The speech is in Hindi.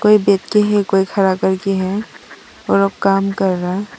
एक व्यक्ति है कोई खड़ा करके है और वो काम कर रहा।